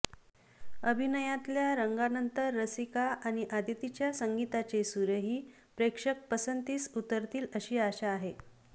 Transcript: अभिनयातल्या रंगानंतर रसिका आणि आदितीच्या संगीताचे सूर ही प्रेक्षक पसंतीस उतरतील अशी आशा आहे